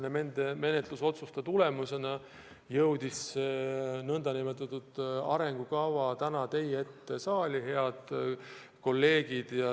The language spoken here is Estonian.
Nende otsuste tulemusena jõudis see arengukava täna teie ette saali, head kolleegid.